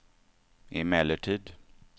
emellertid